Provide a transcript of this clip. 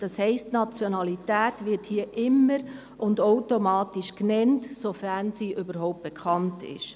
Das heisst, die Nationalität wird hier immer und automatisch genannt, sofern diese überhaupt bekannt ist.